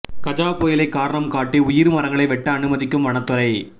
கஜா புயலை காரணம் காட்டி உயிர் மரங்களை வெட்ட அனுமதிக்கும் வனத்துறை